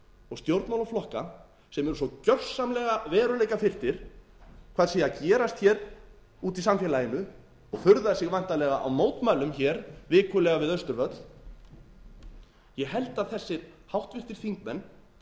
og stjórnmálaflokka sem eru svo gjörsamlega veruleikafirrtir hvað sé að gerast hér úti í samfélaginu og furða sig væntanlega á mótmælum hér vikulega við austurvöll ég held að þessir háttvirtir þingmenn verði að fara